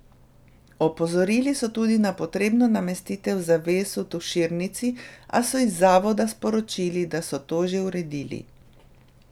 Opozorili so tudi na potrebno namestitev zaves v tuširnici, a so iz zavoda sporočili, da so to že uredili.